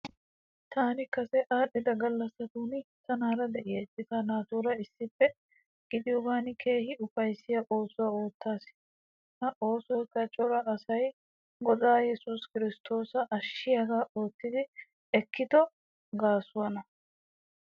Taani kase aadhdhida gallassatun tanaara de'iya citaa naatuura issippe gidiyogaan keehi ufayissiya oosuwa oottaas. Ha oosoyikka cora asay Godaa Yesuus Kiristtoosa ashshiyaaga oottidi ekkido gaasuwaana.